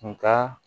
Nga